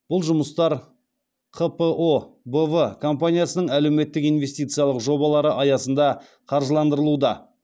бұл жұмыстар қпо б в компаниясының әлеуметтік инвестициялық жобалары аясында қаржыландырылуда